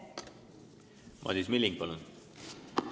Madis Milling, palun!